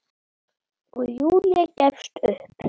Og Júlía gefst upp.